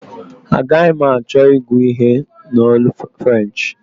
Agaghi m achọ ịgụ ihe a n'olu French